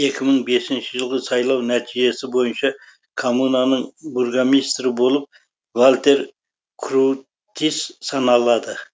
екі мың бесінші жылғы сайлау нәтижесі бойынша коммунаның бургомистрі болып вальтер крутис саналады